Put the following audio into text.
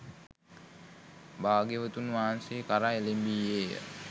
භාග්‍යවතුන් වහන්සේ කරා එළඹියේය.